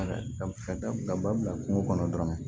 Ba bila kungo kɔnɔ dɔrɔn